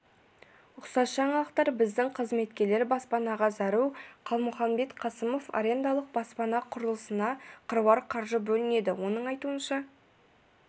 ұқсас жаңалықтар біздің қызметкерлер баспанаға зәру қалмұханбет қасымов арендалық баспана құрылысына қыруар қаржы бөлінеді оның айтуынша